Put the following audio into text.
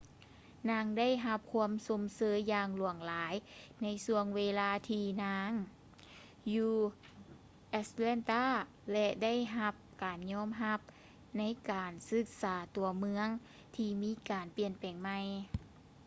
ນາງໄດ້ຮັບຄວາມຊົມເຊີຍຢ່າງຫຼວງຫຼາຍໃນຊ່ວງເວລາທີ່ນາງຢູ່ atlanta ແລະ ໄດ້ຮັບການຍອມຮັບໃນດ້ານການສຶກສາຕົວເມືອງທີ່ມີການປ່ຽນແປງໃໝ່